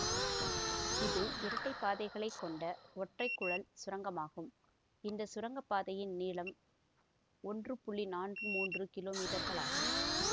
இது இரட்டை பாதைகளைக் கொண்ட ஒற்றை குழல் சுரங்கமாகும் இந்த சுரங்க பாதையின் நீளம் ஒன்று நான்கு மூன்று கிலோ மீட்டர்களாகும்